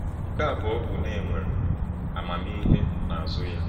Nke abụọ bụ na e nwere amamihe n’azụ ya.